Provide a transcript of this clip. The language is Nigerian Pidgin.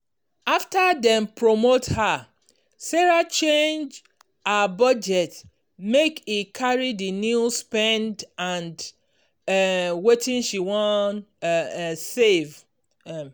after dem promote her sarah change her budget make e carry the new spend and um wetin she wan um save. um